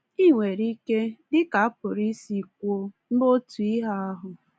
Ị nwere ike, dị ka a pụrụ isi kwuo, mee otu ihe ahụ.